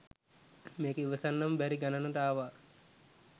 මේක ඉවසන්නම බැරි ගණනට ආවා.